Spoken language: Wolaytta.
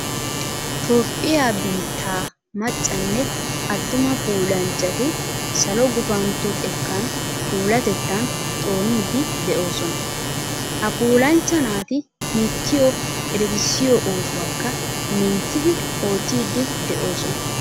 Toophphiya biittaa maccanne attuma puulanchchati salo gufantto xekkan puulatettan xooniiddi de'oosona. Ha puulanchcha naati biittiyo eretissiyo oosuwakka minttidi oottiiddi de'oosona.